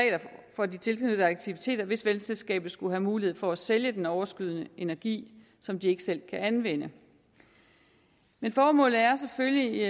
for de tilknyttede aktiviteter hvis vandselskabet skulle have mulighed for at sælge den overskydende energi som det ikke selv kan anvende men formålet er selvfølgelig